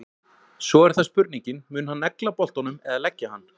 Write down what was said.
Svo er það spurningin, mun hann negla boltanum eða leggja hann?